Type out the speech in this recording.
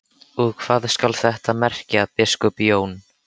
Og hvað skal þetta merkja, biskup Jón?